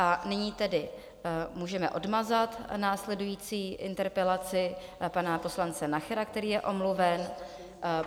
A nyní tedy můžeme odmazat následující interpelaci pana poslance Nachera, který je omluven.